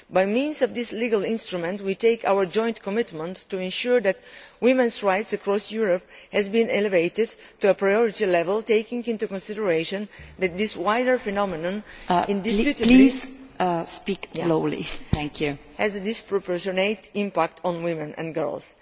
By means of this legal instrument, we make a joint commitment to ensure that women's rights across Europe are elevated to a priority level, taking into consideration that this wider phenomenon indisputably has a disproportionate impact on women and girls.